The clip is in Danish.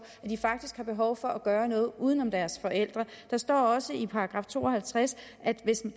at de faktisk har behov for at gøre noget uden om deres forældre der står også i § to og halvtreds at hvis der